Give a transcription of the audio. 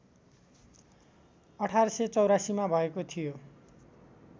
१८८४ मा भएको थियो